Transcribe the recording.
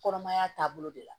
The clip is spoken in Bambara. Kɔnɔmaya taabolo de la